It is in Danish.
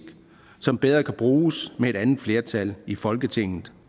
som bedre kan bruges med et andet flertal i folketinget